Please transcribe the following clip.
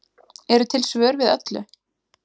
Eru til svör við öllu?